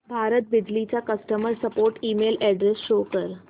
भारत बिजली चा customer support email address show कर